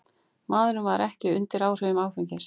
Maðurinn var ekki undir áhrifum áfengis